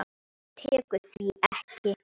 Það tekur því ekki.